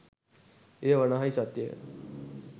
එය වනාහී සත්‍යය